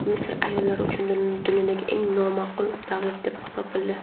Misr ayollar uchun dunyodagi eng nomaqbul davlat deb topildi.